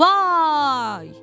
Vay!